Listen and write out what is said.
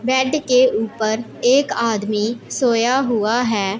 Bed के ऊपर एक आदमी सोया हुआ हैं।